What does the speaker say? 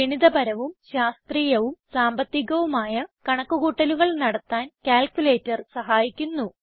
ഗണിതപരവും ശാസ്ത്രീയവും സാമ്പത്തികവുമായ കണക്ക് കൂട്ടലുകൾ നടത്താൻ ക്യാൽക്കുലേറ്റർ സഹായിക്കുന്നു